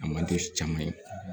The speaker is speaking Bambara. A man di caman ye